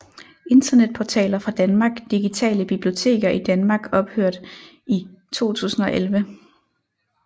Internetportaler fra Danmark Digitale biblioteker i Danmark Ophørt i 2011